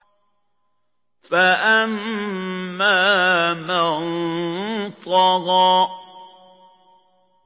فَأَمَّا مَن طَغَىٰ